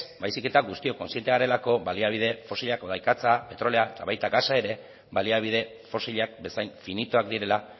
baizik eta kontziente garelako baliabide fosilak hau da ikatza petrolioa eta baita gasa ere baliabide fosilak bezain finitoak direla